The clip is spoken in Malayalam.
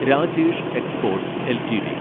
Rajesh exports LTD